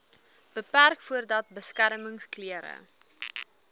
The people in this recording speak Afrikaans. beperk voordat beskermingsklere